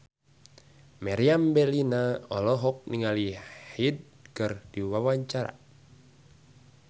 Meriam Bellina olohok ningali Hyde keur diwawancara